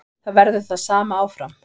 Það verður það sama áfram.